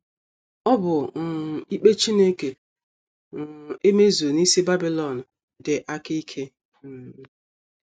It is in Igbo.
Ọ bụ um ikpe Chineke um e mezuru n’isi Babilọn dị aka ike. um